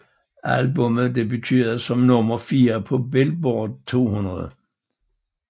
Albummet debuterede som nummer 4 på Billboard 200